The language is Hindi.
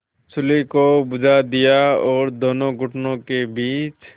चूल्हे को बुझा दिया और दोनों घुटनों के बीच